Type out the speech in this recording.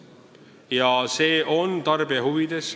Ja see on tarbija huvides.